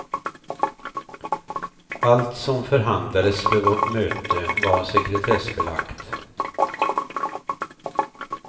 Allt som förhandlades vid vårt möte var sekretessbelagt.